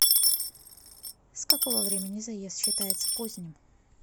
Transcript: с какого времени заезд считается поздним